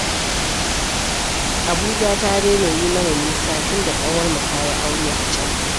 Abuja ta daina yi mana nisa tunda ƙawarmu ta yi aure a can